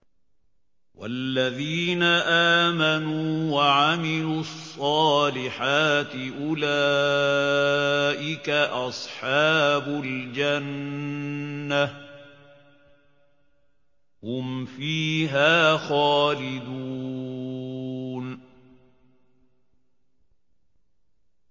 وَالَّذِينَ آمَنُوا وَعَمِلُوا الصَّالِحَاتِ أُولَٰئِكَ أَصْحَابُ الْجَنَّةِ ۖ هُمْ فِيهَا خَالِدُونَ